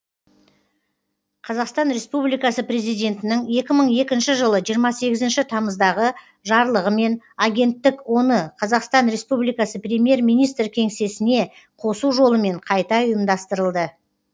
қазақстан республикасы президентінің екі мың екінші жылы жиырма сегізінші тамыздағы жарлығымен агенттік оны қазақстан республикасы премьер министр кеңсесіне қосу жолымен қайта ұйымдастырылды